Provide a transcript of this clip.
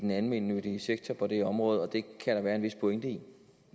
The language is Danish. den almennyttige sektor på det område og det kan der være en vis pointe i